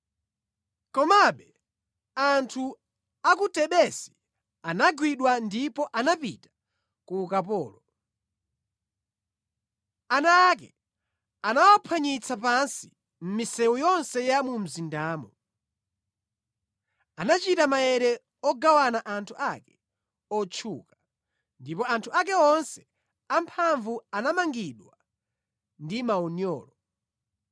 Komabe anthu a ku Tebesi anagwidwa ndipo anapita ku ukapolo. Ana ake anawaphwanyitsa pansi mʼmisewu yonse ya mu mzindamo. Anachita maere ogawana anthu ake otchuka, ndipo anthu ake onse amphamvu anamangidwa ndi maunyolo.